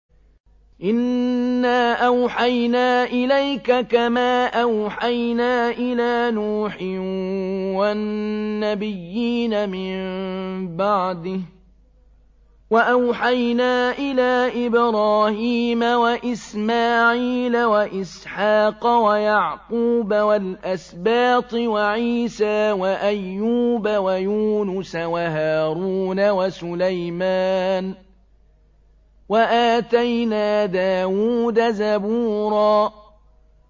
۞ إِنَّا أَوْحَيْنَا إِلَيْكَ كَمَا أَوْحَيْنَا إِلَىٰ نُوحٍ وَالنَّبِيِّينَ مِن بَعْدِهِ ۚ وَأَوْحَيْنَا إِلَىٰ إِبْرَاهِيمَ وَإِسْمَاعِيلَ وَإِسْحَاقَ وَيَعْقُوبَ وَالْأَسْبَاطِ وَعِيسَىٰ وَأَيُّوبَ وَيُونُسَ وَهَارُونَ وَسُلَيْمَانَ ۚ وَآتَيْنَا دَاوُودَ زَبُورًا